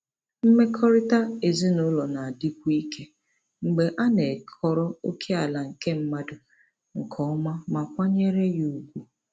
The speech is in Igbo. Mmekọrịta ezinụlọ na-adịkwu ike mgbe a na-ekọrọ ókèala nke mmadụ nke ọma ma kwanyere ya ùgwù.